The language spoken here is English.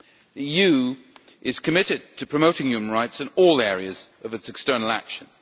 The EU is committed to promoting human rights in all areas of its external action.